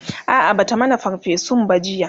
a'a Bata mana ferfesun ba jiya